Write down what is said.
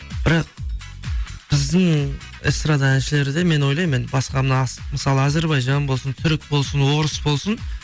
бірақ біздің эстрада әншілері де мен ойлаймын енді басқа мына мысалға әзірбайжан болсын түрік болсын орыс болсын